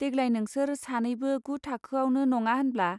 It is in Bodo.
देग्लाय नोंसोर सानैबो गु थाओआवनो नङा होनब्ला.